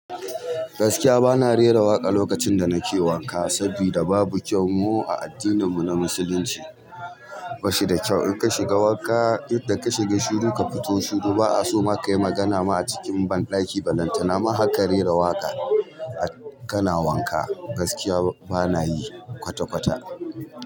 Gaskiya bana rera waƙa lokacin da nake wanka saboda babu kyau mu a addinin mu na musulunci. Bashida kyau in ka shiga wanka yadda ka shiga shiru ka fito shiru. Ba a so ma ka yi magana ma a cikin banɗaki ba. Nan tana ma har ka rera waƙa kana wanka gaskiya bana yi kwata-kwata.